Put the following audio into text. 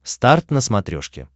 старт на смотрешке